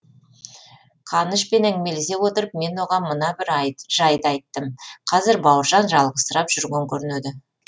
қанышпен әңгімелесе отырып мен оған мына бір жайды айттым қазір бауыржан жалғызсырап жүрген көрінеді